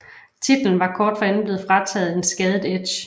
Titlen var kort forinden blevet frataget en skadet Edge